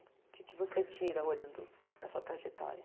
O que que você tira olhando para a sua trajetória?